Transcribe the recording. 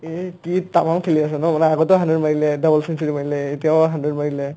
এই কি তামাম খেলি আছে ন মানে আগতেও hundred মাৰিলে double century মাৰিলে এতিয়াও hundred মাৰিলে